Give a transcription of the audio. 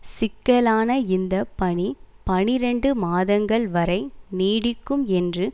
சிக்கலான இந்த பணி பனிரெண்டு மாதங்கள்வரை நீடிக்கும் என்று